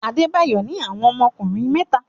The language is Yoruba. Adebayo ní àwọn ọmọkùnrin mẹ́ta.